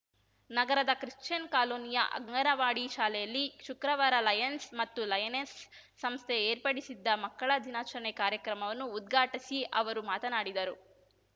ನಗರದ ಕ್ರಿಶ್ಚಿಯನ್‌ ಕಾಲೋನಿಯ ಅಂಗನವಾಡಿ ಶಾಲೆಯಲ್ಲಿ ಶುಕ್ರವಾರ ಲಯನ್ಸ್ ಮತ್ತು ಲಯನೆಸ್‌ ಸಂಸ್ಥೆ ಏರ್ಪಡಿಸಿದ್ದ ಮಕ್ಕಳ ದಿನಾಚರಣೆ ಕಾರ್ಯಕ್ರಮವನ್ನು ಉದ್ಘಾಟಿಸಿ ಅವರು ಮಾತನಾಡಿದರು